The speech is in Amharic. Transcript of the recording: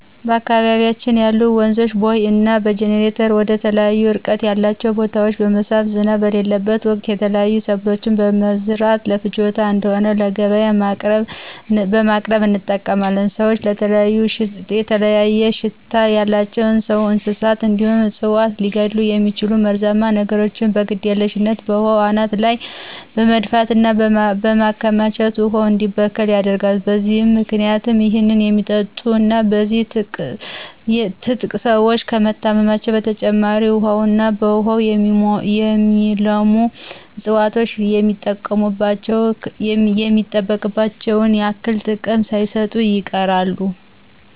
በአካባቢያችን ያሉ ወንዞችን በቦይ እና በጅኒተር ወደተለያዩ እርቀት ያላቸው ቦታወች በመሳብ ዝናብ በሌለበት ወቅት የተለያዩ ሰብሎችን በመምረት ለፍጆታ እንድሆን ለገቢያ በቅርብ እንጠቀማለን። ሰወች የተለያየ ሽታ ያላቸው ሰውን፣ እንስሳትን እንዲሁም እፅዋትን ሊገድሉ የሚችሉ መርዛማ ነገሮችን በግድየልሽነት በውሃው አናት ላይ በመድፋት እና በማከማቸት ውሃው እንዲበከል ያደርጋሉ። በዚህም ምክንያት ይህን የሚጠጡ እና በዚህ የትጥቅ ሰወች ከመታመም በተጨማሪ ውሀውና በውሃው የሚለሙ እፅዋቶች የሚጠበቅባቸውን ያክል ጥቅም ሳይሰጡ ይቀራሉ።